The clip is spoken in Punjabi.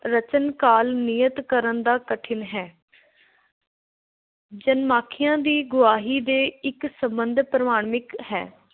ਰਚਨ ਕਾਲ ਨਿਯਤ ਕਰਨ ਦਾ ਕਠਿਨ ਹੈ। ਜਨਮ-ਸਾਖੀਆਂ ਦੀ ਗਵਾਹੀ ਦੇ ਇੱਕ ਸੰਬੰਧ ਪ੍ਰਮਾਣਿਕ ਹੈ।